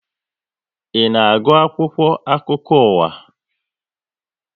Ị na agụ akwụkwọ akụkọ ụwa?